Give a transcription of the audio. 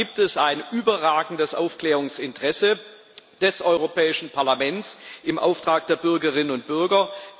Deshalb gibt es ein überragendes Aufklärungsinteresse des Europäischen Parlaments im Auftrag der Bürgerinnen und Bürger.